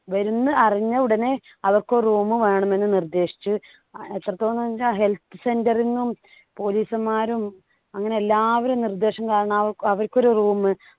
വരുന്ന അറിഞ്ഞു ഉടനെ അവർക്കൊരു room വേണമെന്നു നിർദ്ദേശിച്ചു. എത്രത്തോളംച്ചാൽ helth center ന്നും police മാരും അങ്ങനെ എല്ലാവരും നിർദ്ദേശം കാരണം അവ അവർക്കൊരു room